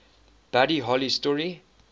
buddy holly story